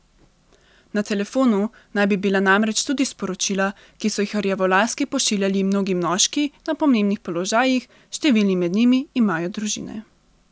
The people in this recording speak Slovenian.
Na telefonu naj bi bila namreč tudi sporočila, ki so jih rjavolaski pošiljali mnogi moški na pomembnih položajih, številni med njimi imajo družine.